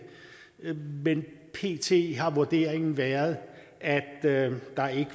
men pt har vurderingen været at været